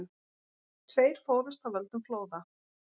Tveir fórust af völdum flóða